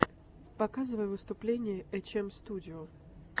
показывай выступления эйчэмстудио